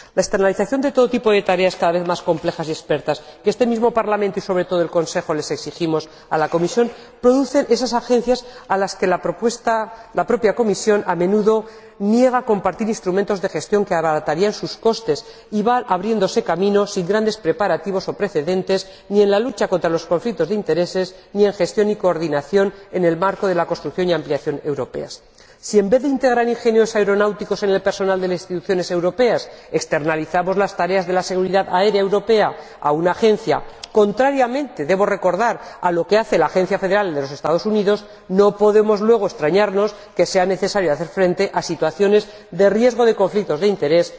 La externalización de todo tipo de tareas cada vez más complejas y expertas que este mismo Parlamento y, sobre todo, el Consejo le exigimos a la Comisión produce esas Agencias a las que la propia Comisión a menudo niega compartir instrumentos de gestión que abaratarían sus costes y que van abriéndose camino sin grandes preparativos o precedentes ni en la lucha contra los conflictos de interés ni en la gestión y coordinación en el marco de la construcción y ampliación europeas. Si, en vez de integrar ingenieros aeronáuticos en el personal de las instituciones europeas, externalizamos las tareas de la seguridad aérea europea en una Agencia, contrariamente —debo recordar— a lo que hace la Agencia Federal de los Estados Unidos, no podemos luego extrañarnos de que sea necesario hacer frente a situaciones de riesgo de conflictos de interés.